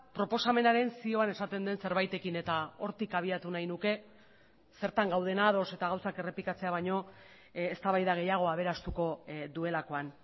proposamenaren zioan esaten den zerbaitekin eta hortik abiatu nahi nuke zertan gauden ados eta gauzak errepikatzea baino eztabaida gehiago aberastuko duelakoan